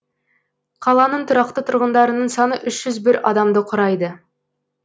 қаланың тұрақты тұрғындарының саны үш жүз бір адамды құрайды